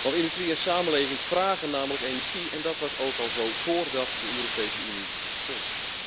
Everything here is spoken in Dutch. Want industriële samenlevingen vragen namelijk energie en dat was ook al zo, voordat de Europese Unie bestond.